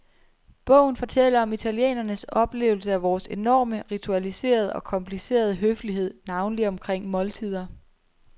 Bogen fortæller om italienernes oplevelse af vores enorme, ritualiserede og komplicerede høflighed, navnlig omkring måltider.